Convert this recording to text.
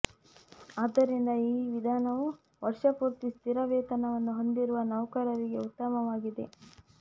ಆದ್ದರಿಂದ ಈ ವಿಧಾನವು ವರ್ಷ ಪೂರ್ತಿ ಸ್ಥಿರ ವೇತನವನ್ನು ಹೊಂದಿರುವ ನೌಕರರಿಗೆ ಉತ್ತಮವಾಗಿದೆ